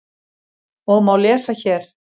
og má lesa hér.